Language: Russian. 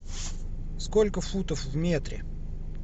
сколько футов в метре